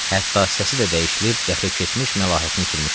Hətta səsi də dəyişilib daxil keçmiş məlahətin itirmişdi.